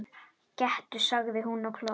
Gettu sagði hún og hló.